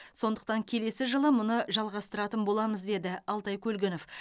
сондықтан келесі жылы мұны жалғастыратын боламыз деді алтай көлгінов